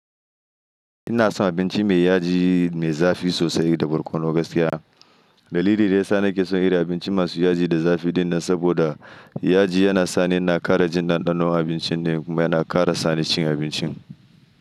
Ina son abinci mai yaji mai zafi sosai da barkono gaskiya. Dalili da ya sa nake son irin abinci masu yaji da zafi din nan saboda yaji yana sa ni ina ƙara jin ɗanɗanon abincin ne kuma yana ƙara sa ni cin abincin.